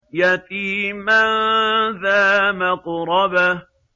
يَتِيمًا ذَا مَقْرَبَةٍ